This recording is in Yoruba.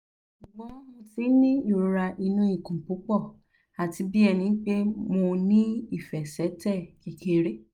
ṣugbọn mo ti n ni irora inu ikun pupọ ati bi ẹnipe mo ni ifẹsẹtẹ kekere